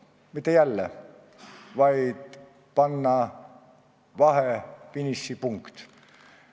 Mitte niisama rääkida, vaid panna vahefiniši punkti.